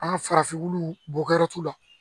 An ka farafinw bɔgɔti la